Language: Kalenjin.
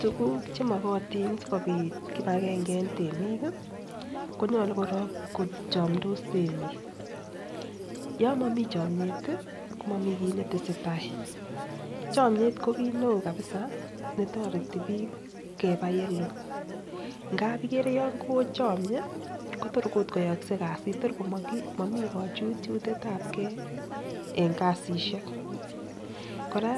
Tuguk che mogotin sikobit kipagenge en temik konyolu korong kochomdos temik, yon momi chomyet komomi kiy netesetai chomyet kokiit neo kabisa netoreti biik keba ye loo ngab igere yon kochomyee kotor koyookse kasit tor ot komomi kochutchutet ab gee en kasishek. Kora